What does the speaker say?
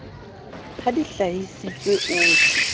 ha di hlahisitswe ho tj